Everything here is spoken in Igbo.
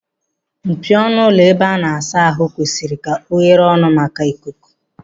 Mpio ọnụ ụlọ ebe a na-asa ahụ kwesịrị ka oghere ọnụ maka ikuku.